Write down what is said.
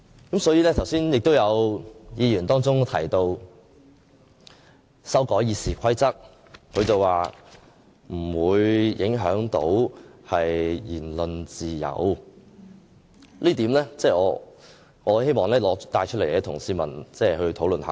剛才亦有議員提到修改《議事規則》不會影響言論自由，我希望就這一點與市民討論。